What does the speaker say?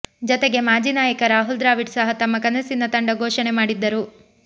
ಜತೆಗೆ ಮಾಜಿ ನಾಯಕ ರಾಹುಲ್ ದ್ರಾವಿಡ್ ಸಹ ತಮ್ಮ ಕನಸಿನ ತಂಡ ಘೋಷಣೆ ಮಾಡಿದ್ದರು